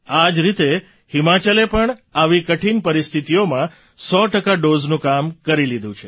આ જ રીતે હિમાચલે પણ આવી કઠિન પરિસ્થિતિઓમાં સો ટકા ડૉઝનું કામ કરી લીધું છે